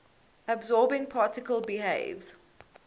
absorbing particle behaves